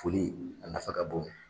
Foli a nafa ka bon.